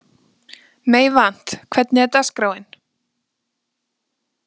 Meyvant, hvernig er dagskráin?